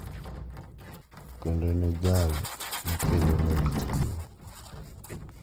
Kendo en e jal makelonegi chiwo